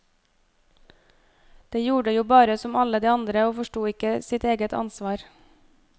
De gjorde jo bare som alle de andre og forsto ikke sitt eget ansvar.